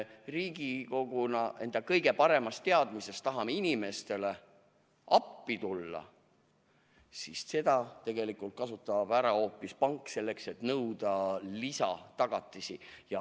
Riigikoguna me tahame enda kõige paremas teadmises inimestele appi tulla, aga seda kasutab ära hoopis pank, et nõuda lisatagatisi.